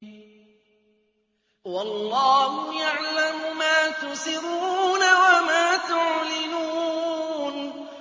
وَاللَّهُ يَعْلَمُ مَا تُسِرُّونَ وَمَا تُعْلِنُونَ